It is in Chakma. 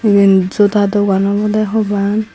iben joda dogan obode hubang.